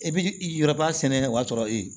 E bi yɔrɔba sɛnɛ o y'a sɔrɔ e ye